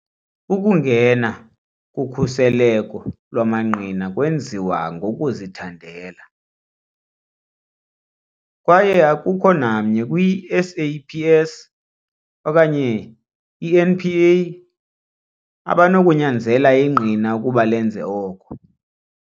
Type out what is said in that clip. Ukungena kukhuseleko lwamangqina kwenziwa ngokuzithandela, kwaye akukho namnye kwi-SAPS okanye i-NPA abanokunyanzela ingqina ukuba lenze oko.